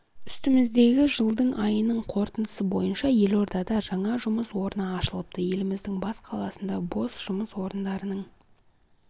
үстіміздегі жылдың айының қорытындысы бойынша елордада жаңа жұмыс орны ашылыпты еліміздің бас қаласында бос жұмыс орындарының